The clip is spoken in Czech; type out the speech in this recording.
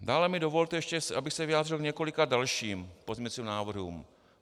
Dále mi dovolte ještě, abych se vyjádřil k několika dalším pozměňujícím návrhům.